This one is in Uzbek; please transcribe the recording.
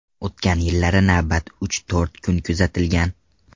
O‘tgan yillari navbatlar uch-to‘rt kun kuzatilgan.